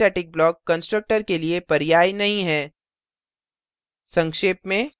अतः nonstatic block constructor के लिए पर्याय नहीं है